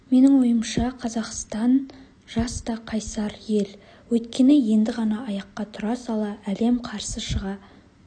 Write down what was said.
менің ойымша қазақстан жас та қайсар ел өйткені енді ғана аяққа тұра сала әлем қарсы шыға